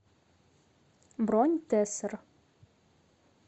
бронь тессер